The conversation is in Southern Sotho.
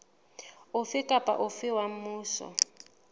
ofe kapa ofe wa mmuso